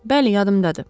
Bəli, yadımdadır.